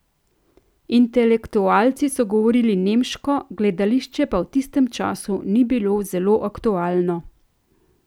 Intelektualci so govorili nemško, gledališče pa v tistem času ni bilo zelo aktualno.